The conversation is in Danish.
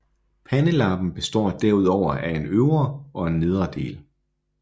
Pandelappen består derudover af en øvre og en nedre del